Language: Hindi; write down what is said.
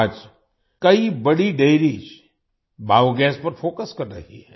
आज कई बड़ी डेयरीज बायोगास पर फोकस कर रही हैं